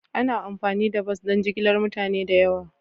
Ana amfani da bas don jigilar mutane da yawa.